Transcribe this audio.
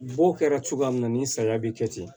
B'o kɛra cogoya min na nin sariya bɛ kɛ ten